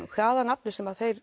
hvaða nafni sem þeir